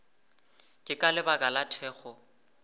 ke ka lebaka la thekgo